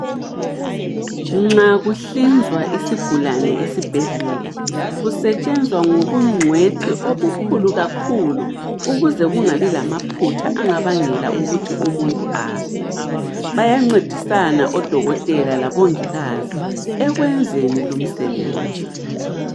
Nxa kuhlinzwa isigulane esibhedlela, kusetshenzwa ngobungcwethi obukhulu kakhulu ukuze kungabi lamaphutha angabangela ukuthi umuntu afe. Bayancedisana odokotela labongikazi ekwenzeni lumsebenzi.